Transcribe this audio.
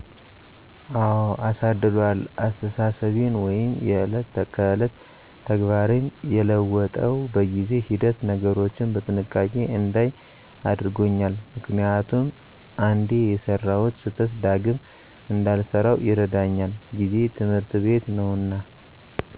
አዎ አሳድሯል አስተሳሰቤን ወይም የእለት ከእለት ተግባሬን የለወጠው በጊዜ ሂደት ነገሮችን በጥንቃቄ እንዳይ አድርጎኛል ምክንያቱም አንዴ የሰራሁት ስህተት ዳግም እንዳልሰራው ይረዳኛል ጊዜ ትምህርት ቤት ነዉና።